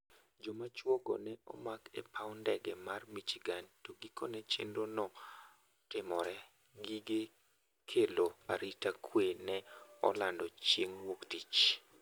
Joma chuo go ne omak e paw ndege mar Michigan to gikone chenro no timore, gige kelo arita kwe ne olando chieng' wuok tich